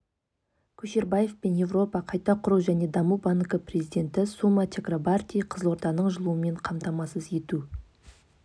көшербаев пен еуропа қайта құру және даму банкі президенті сума чакрабарти қызылорданың жылумен қамтамасыз ету